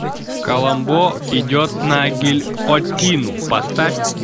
коломбо идет на гильотину поставь